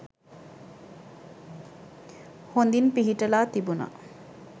හොඳින් පිහිටලා තිබුනා